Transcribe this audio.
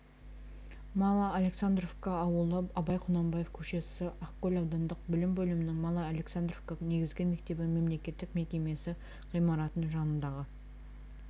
мало-александровка ауылы абай құнанбаев көшесі ақкөл аудандық білім бөлімінің мало-александровка негізгі мектебі мемлекеттік мекемесі ғимаратының жанындағы